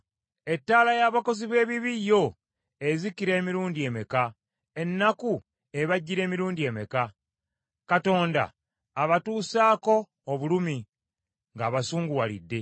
“Ettaala y’abakozi b’ebibi yo, ezikira emirundi emeka? Ennaku ebajjira emirundi emeka? Katonda abatuusaako obulumi, ng’abasunguwalidde.